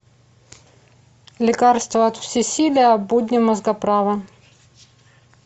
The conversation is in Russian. лекарство от всесилия будни мозгоправа